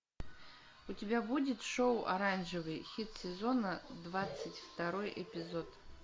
у тебя будет шоу оранжевый хит сезона двадцать второй эпизод